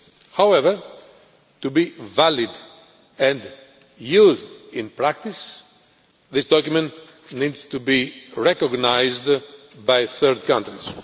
However, to be valid and used in practice, this document needs to be recognised by third countries.